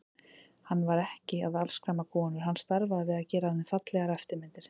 Hann var ekki að afskræma konur, hann starfaði við að gera af þeim fallegar eftirmyndir.